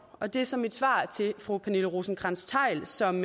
og det er så mit svar til fru pernille rosenkrantz theil som